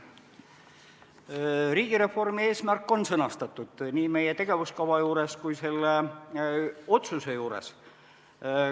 Riigireformi eesmärk on sõnastatud nii meie tegevuskava juures kui ka selle otsuse juures.